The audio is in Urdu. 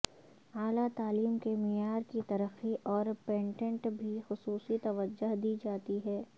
اعلی تعلیم کے معیار کی ترقی اور پیٹنٹ بھی خصوصی توجہ دی جاتی ہے